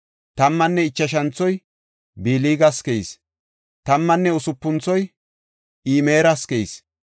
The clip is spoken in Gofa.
Tammanne ichashanthoy Bilgas keyis. Tammanne usupunthoy Imeras keyis.